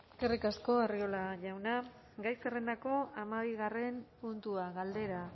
eskerrik asko arriola jauna gai zerrendako hamabigarren puntua galdera